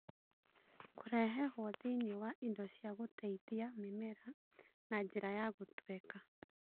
Kũrehehwo thĩinĩ wa indo cia gũteithia mĩmera na njĩra ya gũtweka